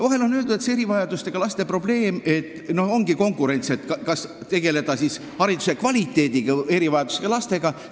Vahel on öeldud, et siin ongi konkurents, tuleb valida, kas tegelda hariduse kvaliteediga või erivajadustega lastega.